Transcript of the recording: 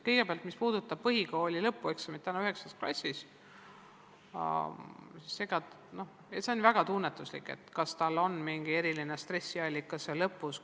Kõigepealt, mis puudutab põhikooli lõpueksamit 9. klassis, siis on väga oluline mõista, et see on mingi eriline stressiallikas kooli lõpus.